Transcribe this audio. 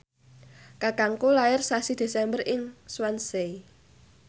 kakangku lair sasi Desember ing Swansea